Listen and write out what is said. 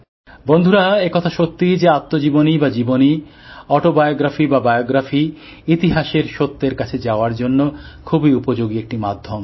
বন্ধুরা একথা সত্যি যে আত্মজীবনী বা জীবনী অটোবায়োগ্রাফি বা বায়োগ্রাফি ইতিহাসের সত্যের কাছে যাওয়ার জন্য খুবই উপযোগী একটি মাধ্যম